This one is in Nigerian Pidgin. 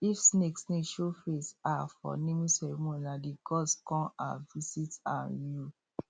if snake snake show face um for naming ceremony nah the gods con um visit um you